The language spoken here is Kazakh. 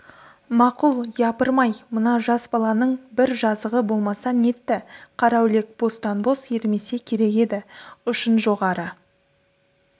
мақұл япырмай мына жас баланың бір жазығы болмаса нетті қараүлек бостан-бос ермесе керек еді ұшын жоғары